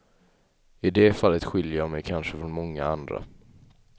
I det fallet skiljer jag mig kanske från många andra.